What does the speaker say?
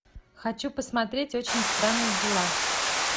хочу посмотреть очень странные дела